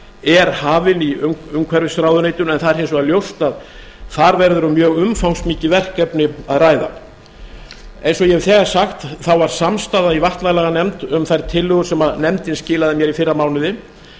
er hafin í umhverfisráðuneytinu en það er hins vegar ljóst að þar verður um mjög umfangsmikið verkefni að ræða eins og ég hef þegar sagt var samstaða í vatnalaganefnd um þær tillögur sem nefndin skilaði mér í fyrra mánuði